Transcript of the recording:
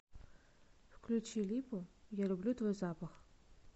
включи липу я люблю твой запах